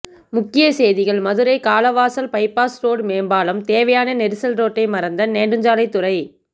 முக்கிய செய்திகள் Madurai Kalavasal bypass road மேம்பாலம் தேவையா நெரிசல் ரோட்டை மறந்த நெடுஞ்சாலைத்துறை